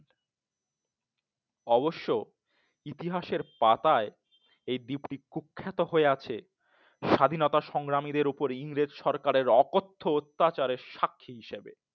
অবশ্যই ইতিহাসের পাতায় এই দীপ্তি কুখ্যাত হয়ে আছে স্বাধীনতা সংগ্রামীদের ওপর ইংরেজদের অকথ্য অত্যাচারের সাক্ষী হিসেবে